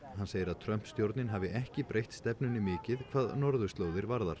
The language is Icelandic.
hann segir að Trump stjórnin hafi ekki breytt stefnunni mikið hvað norðurslóðir varðar